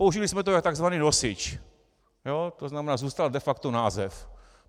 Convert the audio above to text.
Použili jsme to jako tzv. nosič, to znamená, zůstal de facto název.